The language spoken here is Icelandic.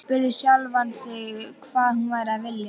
Spurði sjálfan sig hvað hún væri að vilja.